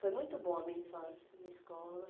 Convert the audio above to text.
Foi muito bom a minha infância, a minha escola.